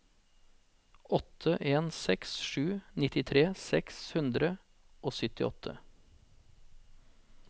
åtte en seks sju nittitre seks hundre og syttiåtte